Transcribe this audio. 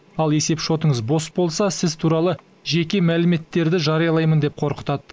ал есепшотыңыз бос болса сіз туралы жеке мәліметтерді жариялаймын деп қорқытады